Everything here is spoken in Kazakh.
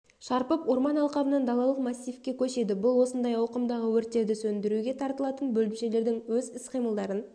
шарпып орман алқабынан далалық массивке көшеді бұл осындай ауқымдағы өрттерді сөндіруге тартылатын бөлімшелердің өз іс-қимылдарын